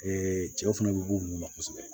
cɛw fana bɛ bɔ olu ma kosɛbɛ